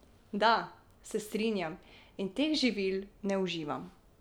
Da, se strinjam in teh živil ne uživam.